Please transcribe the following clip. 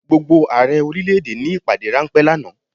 Gbogbo Ààrẹ orílẹ̀ èdè ní ìpàdé ráńpẹ́ lánàá.